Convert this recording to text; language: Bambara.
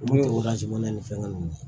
Olu ye ni fɛngɛ ninnu ye